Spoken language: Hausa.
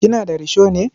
Kina da risho ne?